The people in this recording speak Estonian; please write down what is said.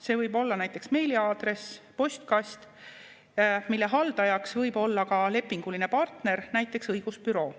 See võib olla näiteks meiliaadress, postkast, mille haldajaks võib olla ka lepinguline partner, näiteks õigusbüroo.